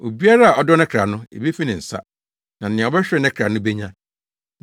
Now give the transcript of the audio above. Obiara a ɔdɔ ne kra no, ebefi ne nsa. Na nea ɔbɛhwere ne kra no benya.